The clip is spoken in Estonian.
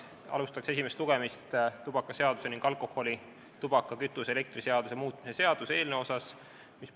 Käesolevaga alustan tubakaseaduse ning alkoholi-, tubaka-, kütuse- ja elektriaktsiisi seaduse muutmise seaduse eelnõu esimest lugemist.